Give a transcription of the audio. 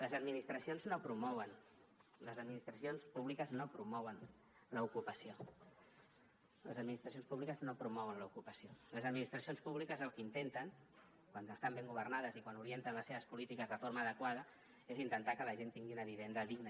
les administracions no promouen les administracions públiques no promouen l’ocupació les administracions públiques no promouen l’ocupació les administracions públiques el que intenten quan estan ben governades i quan orienten les seves polítiques de forma adequada és que la gent tingui una vivenda digna